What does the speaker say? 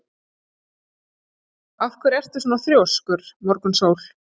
Af hverju ertu svona þrjóskur, Morgunsól?